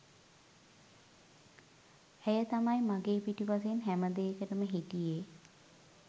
ඇය තමයි මගේ පිටුපසින් හැමදේකටම හිටියේ.